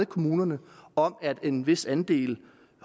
kommunerne om at en vis andel